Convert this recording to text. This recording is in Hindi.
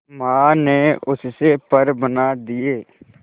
मां ने उससे पर बना दिए